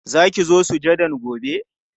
Za ki zo sujadan gobe?